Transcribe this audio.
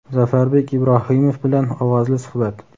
Zafarbek Ibrohimov bilan ovozli suhbat!.